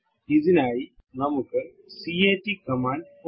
ഇതിനായി നമുക്ക് cat command ഉണ്ട്